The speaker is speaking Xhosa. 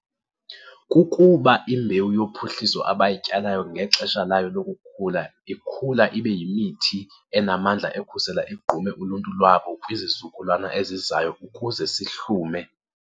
kukuba imbewu yophuhliso abayityalayo ngexesha layo lokukhula, ikhula ibe yimithi enamandla ekhusela igqume uluntu lwabo kwizizukulwana ezizayo ukuze sihlume.